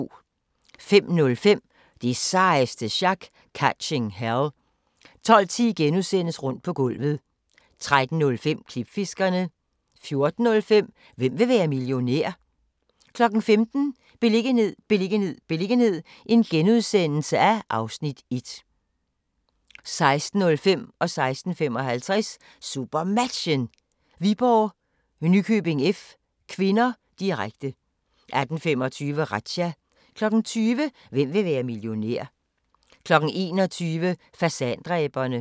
05:05: Det sejeste sjak - Catching Hell 12:10: Rundt på gulvet * 13:05: Klipfiskerne 14:05: Hvem vil være millionær? 15:00: Beliggenhed, beliggenhed, beliggenhed (Afs. 1)* 16:05: SuperMatchen: Viborg-Nykøbing F. (k), direkte 16:55: SuperMatchen: Viborg-Nykøbing F. (k), direkte 18:25: Razzia 20:00: Hvem vil være millionær? 21:00: Fasandræberne